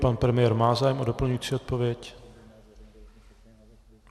Pan premiér má zájem o doplňující odpověď?